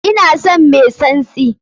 Ina son mai tsantsi!